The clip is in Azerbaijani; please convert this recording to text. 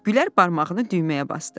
Gülər barmağını düyməyə basdı.